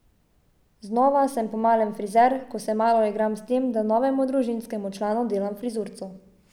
Znova sem po malem frizer, ko se malo igram s tem, da novemu družinskemu članu delam frizurco.